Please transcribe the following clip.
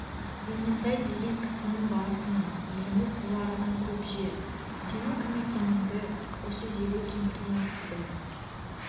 ементай деген кісінің баласымын еліміз бұл арадан көп жер сенің кім екеніңді осы үйдегі кемпірден естідім